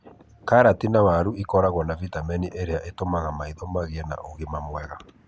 Karati na waru nĩ ikoragwo na vitamini iria itũmaga maitho magĩe na ũgima mwega.